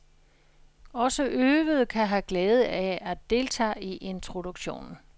Også øvede kan have glæde af at deltage i introduktionen.